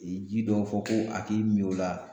I ji dɔ fɔ ko a k'i min o la